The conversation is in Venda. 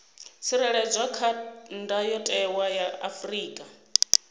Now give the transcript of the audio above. tsireledzwa kha ndayotewa ya afrika